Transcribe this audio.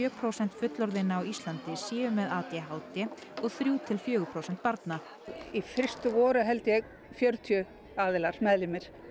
prósent fullorðinna á Íslandi séu með a d h d og þrjú til fjögur prósent barna í fyrstu voru held ég fjörutíu aðilar meðlimir